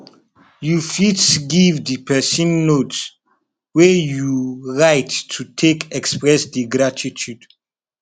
you fit give di person note wey you write to take express di gratitude